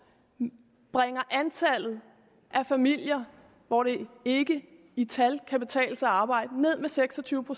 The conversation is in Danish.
bringer antallet af familier hvor det ikke i tal kan betale sig at arbejde ned med seks og tyve